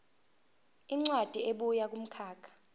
incwadi ebuya kumkhakha